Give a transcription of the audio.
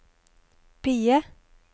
PIE